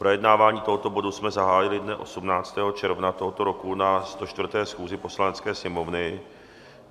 Projednávání tohoto bodu jsme zahájili dne 18. června tohoto roku na 104. schůzi Poslanecké sněmovny.